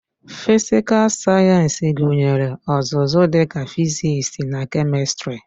Fịsịkal Sayensị gụnyere ọzụzụ dịka fịzịksi na kemistri